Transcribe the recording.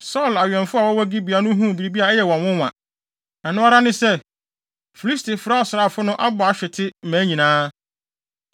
Saulo awɛmfo a wɔwɔ Gibea no huu biribi a ɛyɛ wɔn nwonwa. Ɛno ara ne sɛ, Filistifo asraafo no abɔ ahwete mmaa nyinaa.